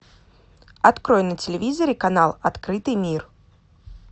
открой на телевизоре канал открытый мир